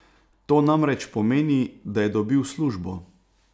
To namreč pomeni, da je dobil službo!